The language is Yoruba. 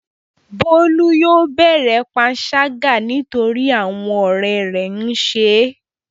Bólú yóò bẹ̀rẹ̀ panṣágà nítorí àwọn ọ̀rẹ́ rẹ̀ ń ṣe é.